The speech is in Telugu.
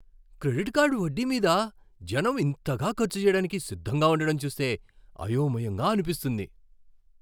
క్రెడిట్ కార్డు వడ్డీ మీద జనం ఇంతగా ఖర్చు చేయడానికి సిద్ధంగా ఉండటం చూస్తే అయోమయంగా అనిపిస్తుంది.